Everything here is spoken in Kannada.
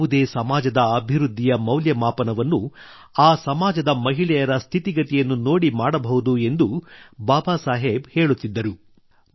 ಯಾವುದೇ ಸಮಾಜದ ಅಭಿವೃದ್ಧಿಯ ಮೌಲ್ಯಮಾಪನವನ್ನು ಆ ಸಮಾಜದ ಮಹಿಳೆಯರ ಸ್ಥಿತಿಗತಿಯನ್ನು ನೋಡಿ ಮಾಡಬಹುದು ಎಂದು ಬಾಬಾಸಾಹೇಬ್ ಹೇಳುತ್ತಿದ್ದರು